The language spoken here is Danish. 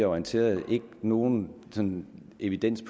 orienteret nogen sådan evidens